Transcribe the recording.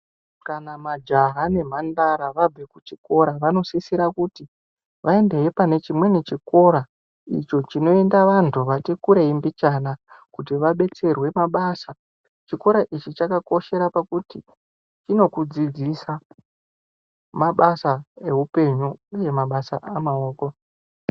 Kana majaha nemhandara vabve kuchikora, vanosisira kuti, vaendehe pane chimweni chikora, icho chinoenda vantu vati kurei mbichana, kuti vabetserwe mabasa. Chikora ichi chakakoshera pakuti chinokudzidzisa ,mabasa eupenyu ,uye mabasa amaoko.